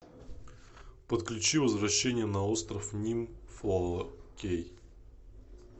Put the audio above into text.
подключи возвращение на остров ним фоло кей